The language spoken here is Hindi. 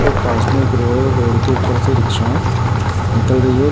और पास में एक रोड है और रोड के ऊपर से रिक्शा निकल रही है।